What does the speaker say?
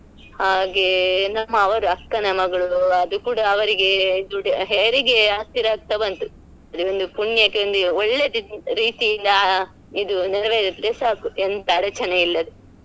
ಹಾಗೆ ನಮ್ಮಅವರ ಅಕ್ಕನ ಮಗಳು ಅದು ಕೂಡ ಅವರಿಗೆ ದುಡೆ~ ಹೆರಿಗೆ ಹತ್ತಿರ ಆಗ್ತಾ ಬಂತು ಅದೊಂದು ಪುಣ್ಯಕೆ ಒಂದು ಒಳ್ಳೆ ರೀತಿಯಿಂದ ಇದು ನೆರ್ವೇರಿದ್ರೆ ಸಾಕು ಎಂತ ಅಡಚನೆ ಇಲ್ಲದೆ.